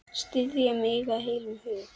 Styðja mig af heilum hug?